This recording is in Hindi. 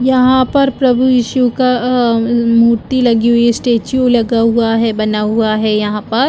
यहाँ पर प्रभु इशू का अ अ म मूर्ति लगी हुई है स्टेचू लगा हुआ है बना हुआ है यहाँ पर